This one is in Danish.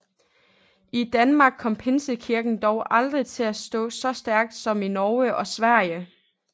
I Danmark kom Pinsekirken dog aldrig til at stå så stærkt som i Norge og Sverige